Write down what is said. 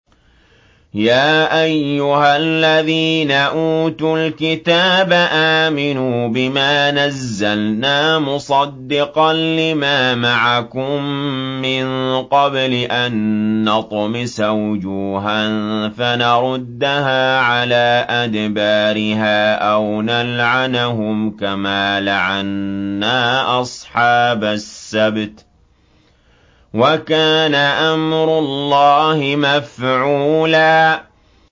يَا أَيُّهَا الَّذِينَ أُوتُوا الْكِتَابَ آمِنُوا بِمَا نَزَّلْنَا مُصَدِّقًا لِّمَا مَعَكُم مِّن قَبْلِ أَن نَّطْمِسَ وُجُوهًا فَنَرُدَّهَا عَلَىٰ أَدْبَارِهَا أَوْ نَلْعَنَهُمْ كَمَا لَعَنَّا أَصْحَابَ السَّبْتِ ۚ وَكَانَ أَمْرُ اللَّهِ مَفْعُولًا